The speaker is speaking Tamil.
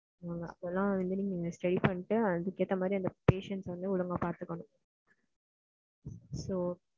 அதுக்கு ஏத்த மாதிரி patients அ ஒழுங்கா பாத்துக்கணும். so